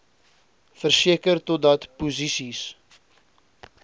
verseker totdat posisies